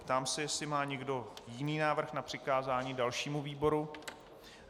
Ptám se, jestli má někdo jiný návrh na přikázání dalšímu výboru.